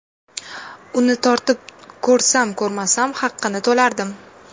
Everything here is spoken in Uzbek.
Uni tortib ko‘rsam-ko‘rmasam haqini to‘lardim.